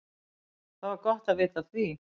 Það var gott að vita af því.